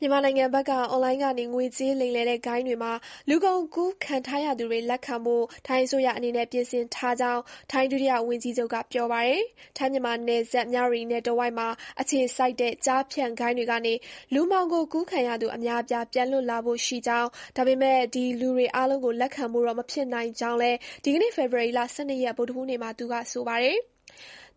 မြန်မာနိုင်ငံဘက်က အွန်လိုင်းကနေ ငွေကြေးလိမ်လည်တဲ့ဂိုဏ်းတွေမှာ လူကုန်ကူးခံထားရသူတွေ လက်ခံဖို့ ထိုင်းအစိုးရအနေနဲ့ ပြင်ဆင်ထားကြောင်း ထိုင်း ဒုတိယဝန်ကြီးချုပ် Phumtham Wechayachai က ပြောပါတယ်။ ထိုင်း-မြန်မာနယ်စပ် မြဝတီနယ်တဝိုက်မှာအခြေစိုက်တဲ့ ကျားဖြန့် ဂိုဏ်းတွေကနေ လူမှောင်ခိုကူးခံရသူ အများအပြား ပြန်လွတ်လာဖို့ရှိကြောင်း၊ ဒါပေမယ့် ဒီလူအားလုံးကို လက်ခံဖို့တော့မဖြစ်နိုင်ကြောင်း လည်း ဒီကနေ့ ဖေဖေါ်ဝါရီ ၁၂ ရက် ဗုဒ္ဓဟူးနေ့မှာ သူကပြောပါတယ်။